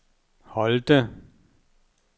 Holte